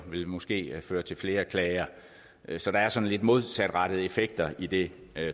vil måske føre til flere klager så der er sådan lidt modsatrettede effekter i det